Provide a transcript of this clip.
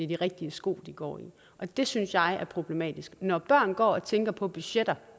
de rigtige sko de går i det synes jeg er problematisk når børn går og tænker på budgetter